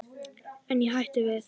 En ég hætti við.